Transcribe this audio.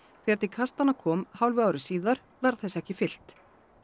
þegar til kastanna kom hálfu ári síðar var þessu ekki fylgt